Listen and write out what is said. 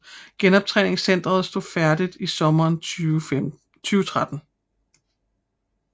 Genoptræningscenteret stod færdig i sommeren 2013